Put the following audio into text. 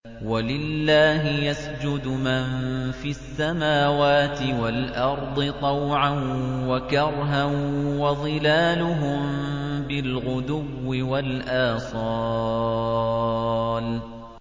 وَلِلَّهِ يَسْجُدُ مَن فِي السَّمَاوَاتِ وَالْأَرْضِ طَوْعًا وَكَرْهًا وَظِلَالُهُم بِالْغُدُوِّ وَالْآصَالِ ۩